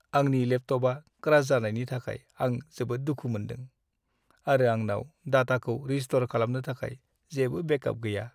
आंनि लेपटपआ क्रास जानायनि थाखाय आं जोबोद दुखु मोनदों, आरो आंनाव डाटाखौ रिस्टौर खालामनो थाखाय जेबो बेकआप गैया।